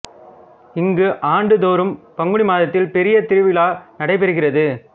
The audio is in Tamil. இங்கு ஆண்டு தோறும் பங்குனி மாதத்தில் பெரிய திருவிழா நடைபெறுகிறது